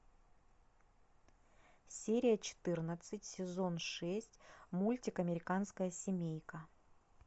серия четырнадцать сезон шесть мультик американская семейка